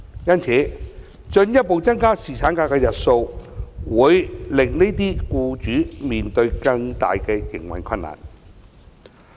因此，進一步增加侍產假日數，會令這些僱主面對更大的營運困難。